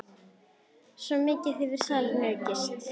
Svo mikið hefur salan aukist.